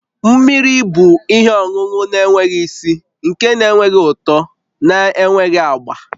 Mmiri bụ ihe ọṅụṅụ na-enweghị isi, nke na-enweghị ụtọ na enweghị agba